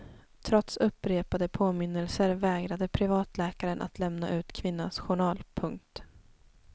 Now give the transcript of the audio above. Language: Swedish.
Trots upprepade påminnelser vägrade privatläkaren att lämna ut kvinnans journal. punkt